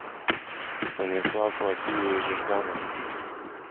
станислав васильевич жданов